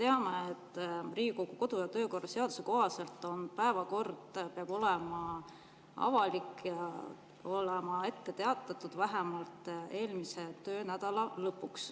Me teame, et Riigikogu kodu‑ ja töökorra seaduse kohaselt peab päevakord olema avalik ja ette teatatud vähemalt eelmise töönädala lõpuks.